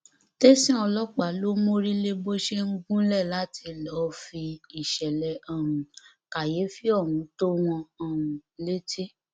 tẹsán ọlọpàá ló mórí lé bó ṣe ń gúnlẹ láti lọọ fi ìṣẹlẹ um kàyéfì ohun tó wọn um létí